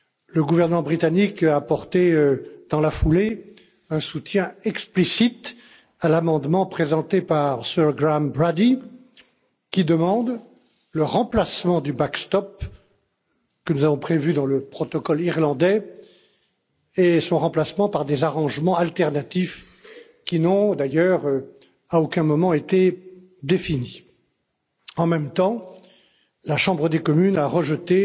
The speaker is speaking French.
Le gouvernement britannique a apporté dans la foulée un soutien explicite à l'amendement présenté par Sir Graham Brady, qui demande le remplacement du backstop que nous avons prévu dans le protocole irlandais par des dispositifs alternatifs, qui n'ont d'ailleurs à aucun moment été définis. En même temps, la Chambre des communes a rejeté